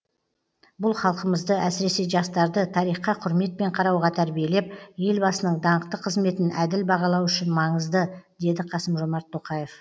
бұл халқымызды әсіресе жастарды тарихқа құрметпен қарауға тәрбиелеп елбасының даңқты қызметін әділ бағалау үшін маңызды деді қасым жомарт тоқаев